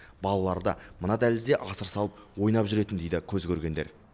балалары да мына дәлізде асыр салып ойнап жүретін дейді көзкөргендер